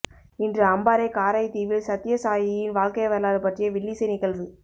இன்று அம்பாறை காரைதீவில் சத்யசாயியின் வாழ்க்கை வரலாறு பற்றிய வில்லிசை நிகழ்வு